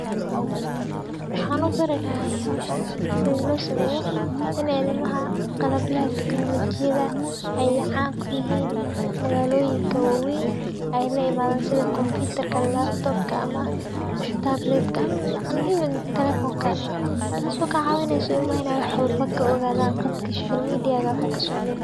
Wxa u barilahay hoshan sithilosameyo inay ilmaha qalabyaha technolojiyaha ay can kuyihin magaloyinka wawen ay laimadan sithi computer laptop ama tablet and even teleponka, tas o kacawineysa ilmaha inay wax walbo kaogadan qadka social media.